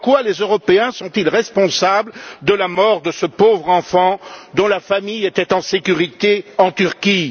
En quoi les Européens sont ils responsables de la mort de ce pauvre enfant dont la famille était en sécurité en Turquie?